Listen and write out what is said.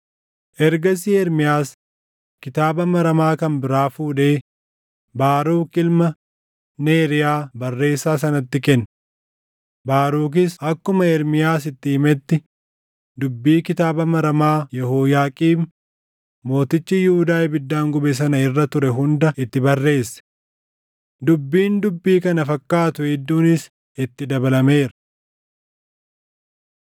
Ergasii Ermiyaas kitaaba maramaa kan biraa fuudhee Baaruk ilma Neeriyaa barreessaa sanatti kenne; Baarukis akkuma Ermiyaas itti himetti dubbii kitaaba maramaa Yehooyaaqiim mootichi Yihuudaa ibiddaan gube sana irra ture hunda itti barreesse. Dubbiin dubbii kana fakkaattu hedduunis itti dabalameera.